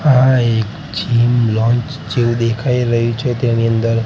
આ એક gym lounge જેવુ દેખાય રહ્યુ છે તેની અંદર--